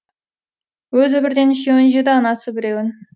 өзі бірден үшеуін жеді анасы біреуін